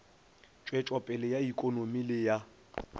tšwetšopele ya ikonomi le ya